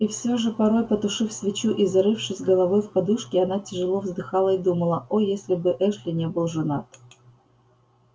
и всё же порой потушив свечу и зарывшись головой в подушки она тяжело вздыхала и думала о если бы эшли не был женат